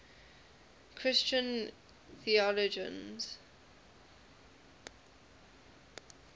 christian theologians